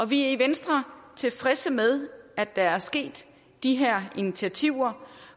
vi er i venstre tilfredse med at der er sket de her initiativer